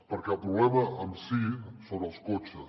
perquè el problema en si són els cotxes